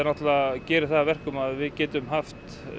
gerir það að verkum að við getum haft